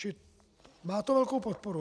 Čili má to velkou podporu.